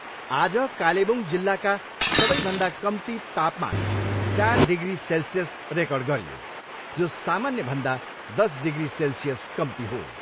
आज कालेबुङ जिल्लाका सबैभन्दा कम्ती तापामान चार डिग्री सेल्सियस रेकर्ड गरियो जो सामान्यभन्दा दस डिग्री सेल्सियस कम्ती हो।